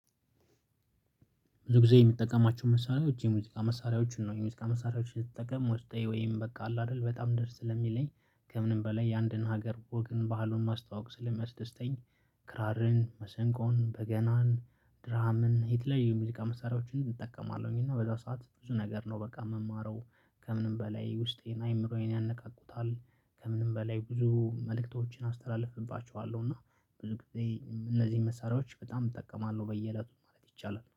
ብዙ ጊዜ የምትጠቀማቸው መሳሪያዎች የሙዚቃ መሳሪያዎችን ነው የሙዚቃ መሳሪያዎችን ስጠቀም ውስጤ ወይም በቃ አለ አይደል በጣም ደስ ስለሚለኝ ከምንም በላይ የአንድን ሀገር ወግን ባህሉን ማስተዋወቅ ስለሚያስደስተኝ። ክራርን መሰንቆን በገናን ድራምን የተለያዩ የሙዚቃ መሳሪያዎችን እጠቀማለሁኝ እና በዛ ሰዓት ብዙ ነገር ነው በቃ ምማረው። ከምንም በላይ ውስጤን አይምሮዬን ያነቃቁታል። ከምንም በላይ ብዙ መልእክቶችን አስተላልፍባቸዋለሁ እና ብዙ ጊዜ እነዚህን መሳሪያዎች በጣም እጠቀማለሁ በየእለቱ ማለት ይቻላል